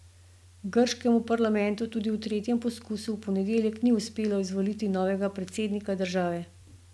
Grškemu parlamentu tudi v tretjem poskusu v ponedeljek ni uspelo izvoliti novega predsednika države.